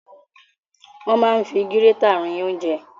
Wọ́n máa ń fi gírétà rin ounjẹ.